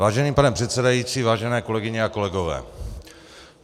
Vážený pane předsedající, vážené kolegyně a kolegové.